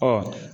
Ɔ